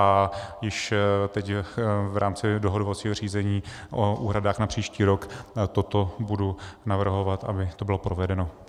A již teď v rámci dohodovacího řízení o úhradách na příští rok toto budu navrhovat, aby to bylo provedeno.